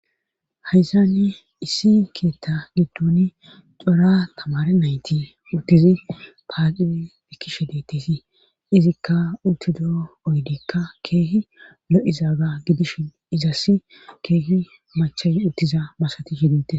haysani issi keetta giddon cora tamare nayti udtizi paace ekishe detesi izikka untido oydikka keehi lo7izaaga gidishin izassi keehi machay uttiza masati shidete